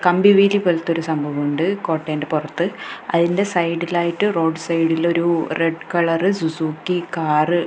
കമ്പി വേലി പോലത്തൊരു സംഭവമുണ്ട് കോട്ടേൻ്റെ പുറത്ത് അയിൻ്റെ സൈഡി ലായിട്ട് റോഡ് സൈഡിലൊരു റെഡ് കളർ സുസുക്കി കാറ് --